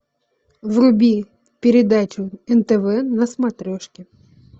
вруби передачу нтв на смотрешке